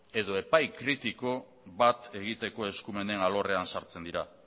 edo epai kritiko bat egiteko eskumenen alorrean sartzen dira